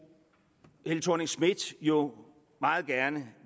helle thorning schmidt jo meget gerne